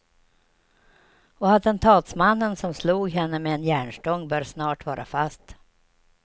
Och attentatsmannen som slog henne med en järnstång bör snart vara fast.